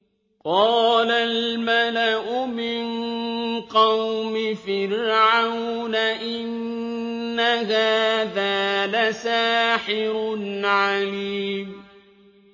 قَالَ الْمَلَأُ مِن قَوْمِ فِرْعَوْنَ إِنَّ هَٰذَا لَسَاحِرٌ عَلِيمٌ